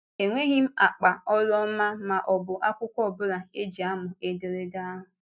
Enweghị m ákpà ọrụ ọma ma ọ bụ akwụkwọ ọ bụla e ji amụ ederede ahụ.